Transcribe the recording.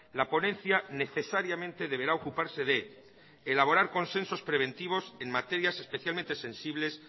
la ponencia necesariamente deberá ocuparse de elaborar consensos preventivos en materias especialmente sensibles